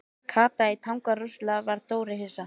Kata í Tanga Rosalega varð Dóri hissa.